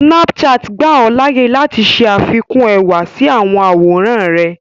Snapchat gbà ọ láàyè láti ṣẹ àfikún ẹwà sí àwọn àwòrán rẹ̀